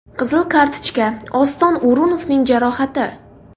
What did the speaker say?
Qizil kartochka, Oston O‘runovning jarohati.